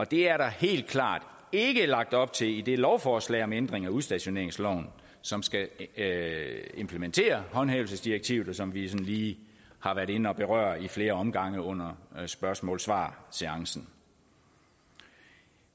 det er der helt klart ikke lagt op til i det lovforslag om ændring af udstationeringsloven som skal implementere håndhævelsesdirektivet og som vi sådan lige har været inde og berøre i flere omgange under spørgsmål svar seancen